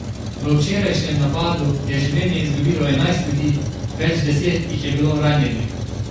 V včerajšnjem napadu je življenje izgubilo enajst ljudi, več deset jih je bilo ranjenih.